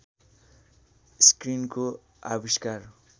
स्क्रिनको आविष्कार